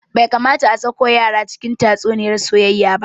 Bai kamata a sako yara cikin tatsuniyar soyayya ba